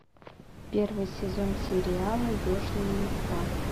первый сезон сериала южный парк